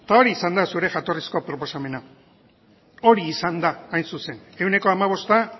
hori izan da zure jatorrizko proposamena hori izan da hain zuzen ehuneko hamabosta